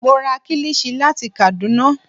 Mo ra kílìṣí láti Kàdúná